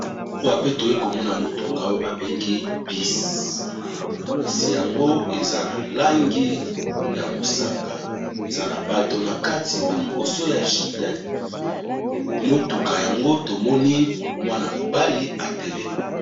Awa pe toye komona motuka oyo ba bengi bus, bus yango eza na langi ya mosaka eza na bato na kati me liboso ya motuka yango tomoni mwana mobali atelemi.